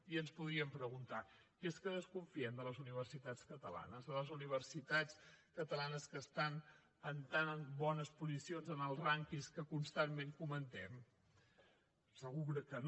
i ens podríem preguntar que és que desconfiem de les universitats catalanes de les universitats catalanes que estan en tan bones posicions en els rànquings que constantment comentem segur que no